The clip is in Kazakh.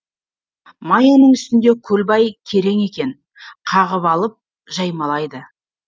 маяның үстінде көлбай керең екен қағып алып жаймалайды